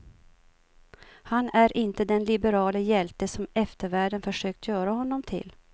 Han är inte den liberale hjälte som eftervärlden försökt göra honom till.